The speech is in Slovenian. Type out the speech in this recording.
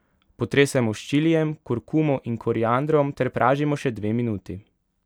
Potresemo s čilijem, kurkumo in koriandrom ter pražimo še dve minuti.